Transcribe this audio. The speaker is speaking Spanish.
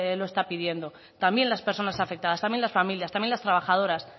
lo está pidiendo también las personas afectadas también las familias también las trabajadoras